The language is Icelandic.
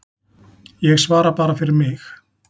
Ég svara bara fyrir mig.